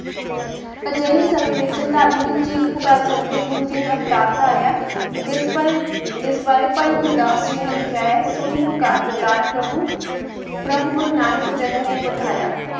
ਅਜੇ ਹੀ ਸਮੇ ਵਿਚ ਧਰਮ ਦੀ ਚੀਖ ਪੁਕਾਰ ਸੁਨ ਕੇ ਗੁਰੂ ਜੀ ਨੇ ਅਵਤਾਰ ਤਾਰਿਆਂ ਜਿਸ ਪਰ ਜਿਸ ਬਰੀ ਪਾਈ ਗੁਰੂ ਦਾਸ ਜੀ ਨੇ ਲਿਖਿਯਾ ਹੈ ਸੁੜੀ ਪੁਕਾਰ ਦੇ ਤਾਰ ਪ੍ਰਭੂ ਪ੍ਰਭ ਗੁਰੂ ਨਾਨਕ ਜੱਗ ਮੈਂ ਪਠਾਇਆ